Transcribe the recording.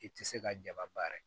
I tɛ se ka jaba baara kɛ